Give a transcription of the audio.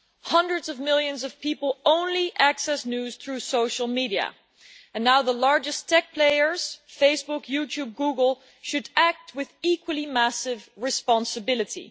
Hundreds of millions of people only access news through social media, and now the largest tech players Facebook, YouTube, Google should act with equally massive responsibility.